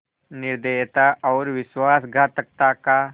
निर्दयता और विश्वासघातकता का